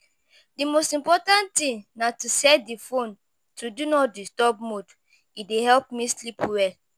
Di most important thing na to set di phone to 'do not disturb' mode, e dey help me sleep well.